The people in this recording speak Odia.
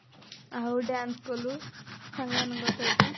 ଆଉ dance କଲୁ ସାଙ୍ଗ ମାନଙ୍କ ସହିତ